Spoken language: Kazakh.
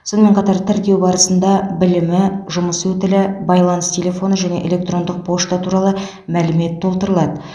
сонымен қатар тіркеу барысында білімі жұмыс өтілі байланыс телефоны және электрондық пошта туралы мәлімет толтырылады